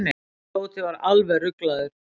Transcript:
Tóti var alveg ruglaður.